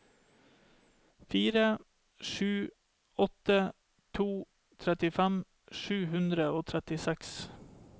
fire sju åtte to trettifem sju hundre og trettiseks